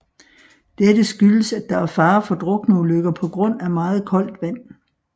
Dette skyldes at der er fare for drukneulykker på grund af meget koldt vand